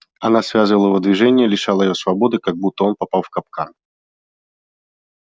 она связывала его движения лишала его свободы как будто он попал в капкан